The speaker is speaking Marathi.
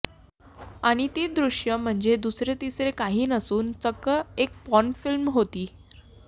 आणि ती दृश्ये म्हणजे दुसरे तिसरे काही नसून चक्क एक पॉर्न फिल्म होती